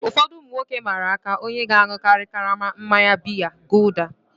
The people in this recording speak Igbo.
Ụfọdụ ụmụ nwoke mmara aka onye ga-aṅụkari karama mmanya biya gulder.